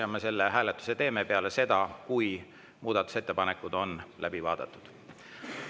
Me selle hääletuse teeme peale seda, kui muudatusettepanekud on läbi vaadatud.